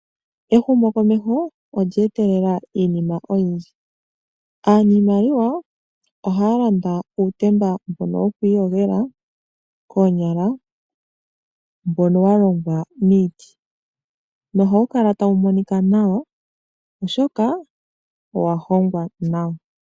Ehumokomeho olye etelela iinima oyindji. Aaniimaliwa ohaya landa uutemba wokwiiyogela koonyala mbono wa longwa miiti nohawu kala tawu monika nawa, oshoka owa hongwa nawa.